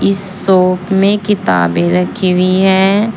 इस शॉप में किताबें रखी हुई है।